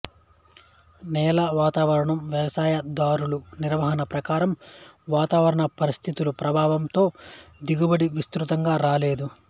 నేల వాతావరణం వ్యవసాయ దారుల నిర్వహణ ప్రకారం వాతావరణ పరిస్థితుల ప్రభావం తో దిగుబడి విస్తృతంగా రాగలదు